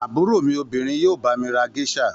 Àbúrò mi obìnrin yóò bá mi ra géíṣà.